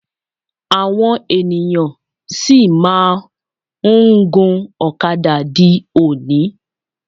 Àwọn ènìyàn sì máà ń gun ọ̀kadà di òní.